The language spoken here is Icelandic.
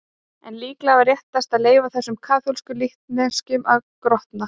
En líklega var réttast að leyfa þessum kaþólsku líkneskjum að grotna.